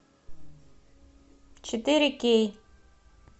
четыре кей